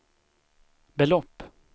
belopp